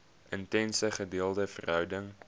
intense gedeelde verhouding